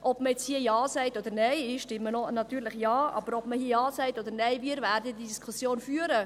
Ob man jetzt hier Ja sagt oder Nein – ich stimme natürlich Ja –, werden wir diese Diskussion führen.